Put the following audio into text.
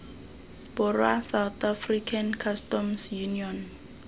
borwa south african customs union